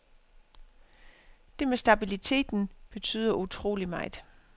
Det med stabiliteten betyder utrolig meget.